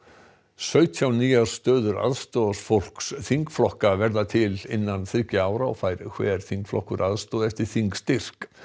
sautján nýjar stöður aðstoðarfólks þingflokka verða til innan þriggja ára og fær hver þingflokkur aðstoð eftir þingstyrk